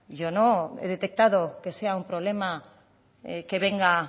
yo no he detectado que sea un problema que venga